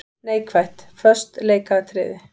Neikvætt:- Föst leikatriði.